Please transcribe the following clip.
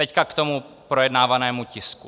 Teď k tomu projednávanému tisku.